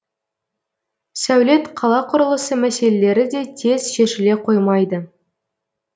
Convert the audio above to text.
сәулет қала құрылысы мәселелері де тез шешіле қоймайды